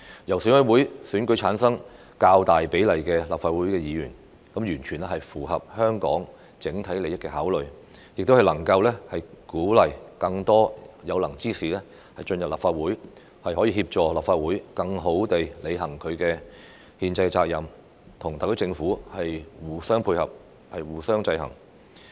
由選委會選舉產生較大比例的立法會議員，完全符合香港的整體利益考慮，亦能鼓勵更多有能之士進入立法會，協助立法會更好地履行其憲制責任，與特區政府互相配合，互相制衡。